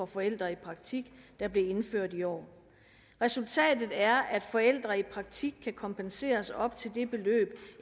forældre i praktik der blev indført i år resultatet er at forældre i praktik kan kompenseres op til det beløb